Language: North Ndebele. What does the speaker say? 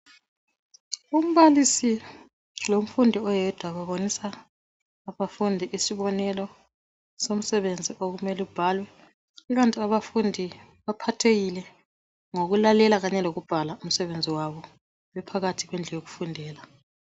Umbalisi lomfundi oyedwa babonisa abafundi isibonelo somsebenzi okumele ubhalwe. ikanti abafundi baphathekile ngokulalela Kanye lokubhala umsebenzi wabo bephakathi kwendlu yokufundela.